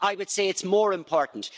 I would say it's more important.